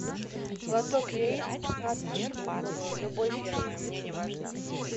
лоток яиц пятнадцать штук любой фирмы мне не важно